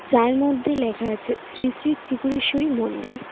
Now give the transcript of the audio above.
যার মধ্যে লেখা আছে শ্রী শ্রী ত্রিপুরেশ্বরী মন্দির।